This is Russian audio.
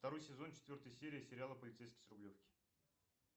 второй сезон четвертая серия сериала полицейский с рублевки